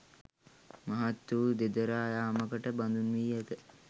මහත් වූ දෙදරා යාමකට බඳුන් වී ඇත